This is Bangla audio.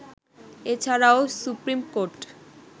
এছাড়াও সুপ্রীমকোর্ট